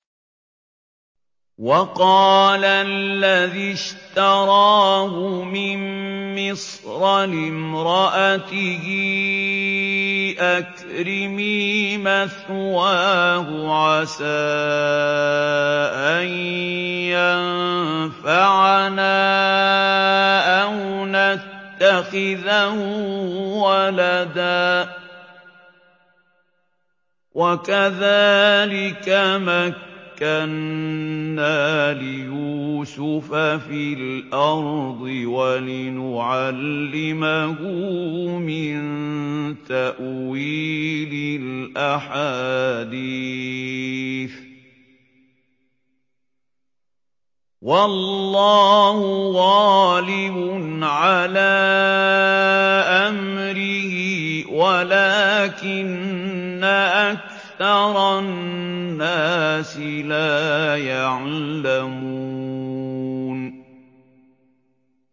وَقَالَ الَّذِي اشْتَرَاهُ مِن مِّصْرَ لِامْرَأَتِهِ أَكْرِمِي مَثْوَاهُ عَسَىٰ أَن يَنفَعَنَا أَوْ نَتَّخِذَهُ وَلَدًا ۚ وَكَذَٰلِكَ مَكَّنَّا لِيُوسُفَ فِي الْأَرْضِ وَلِنُعَلِّمَهُ مِن تَأْوِيلِ الْأَحَادِيثِ ۚ وَاللَّهُ غَالِبٌ عَلَىٰ أَمْرِهِ وَلَٰكِنَّ أَكْثَرَ النَّاسِ لَا يَعْلَمُونَ